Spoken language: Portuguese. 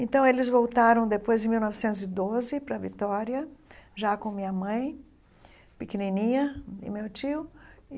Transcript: Então, eles voltaram depois, em mil novecentos e doze, para Vitória, já com minha mãe pequenininha e meu tio.